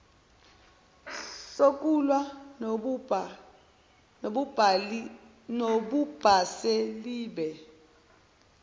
sokulwa nobubha selibe